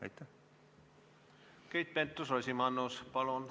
Keit Pentus-Rosimannus, palun!